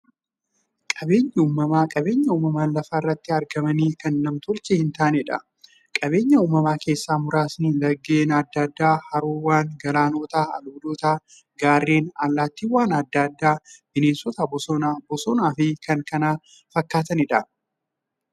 Qaabeenyi uumamaa qabeenya uumamaan lafa irratti argamanii, kan nam-tolchee hintaaneedha. Qabeenya uumamaa keessaa muraasni; laggeen adda addaa, haroowwan, galaanota, albuudota, gaarreen, allattiiwwan adda addaa, bineensota bosonaa, bosonafi kanneen kana fakkataniidha.